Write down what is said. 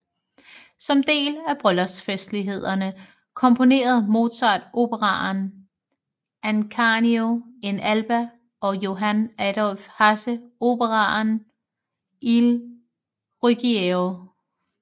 Som del af bryllupsfestlighederne komponerede Mozart operaen Ascanio in Alba og Johann Adolph Hasse operaen Il Ruggiero